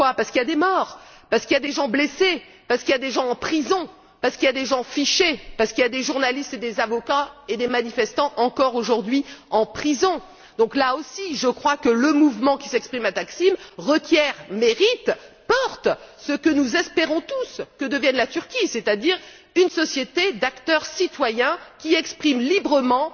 Parce qu'il y a eu des morts, parce qu'il y a des blessés, parce qu'il y a des gens en prison, parce qu'il y a des gens fichés, parce qu'il y a des journalistes, des avocats et des manifestants, encore aujourd'hui, en prison là aussi, je crois que le mouvement qui s'exprime place Taksim requiert mérite, porte ce que nous espérons pour l'avenir de la Turquie, à savoir qu'elle devienne une société d'acteurs citoyens qui exprime librement